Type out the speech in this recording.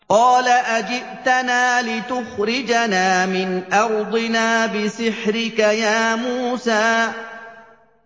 قَالَ أَجِئْتَنَا لِتُخْرِجَنَا مِنْ أَرْضِنَا بِسِحْرِكَ يَا مُوسَىٰ